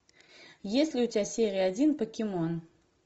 есть ли у тебя серия один покемон